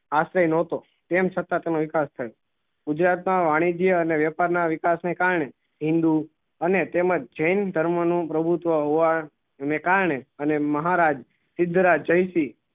આશ્રય ના હતો તેમ છતાં ગુજરાત ના વાન્જીય અને વ્યાપાર ના વિકાસ ના કારને હિંદુ અને તેમજ જેન ઘર્મ નું પ્રભુત્વ હોવા ના કરને અને મહારાજ સિદ્ધ રાજ જાય શ્રી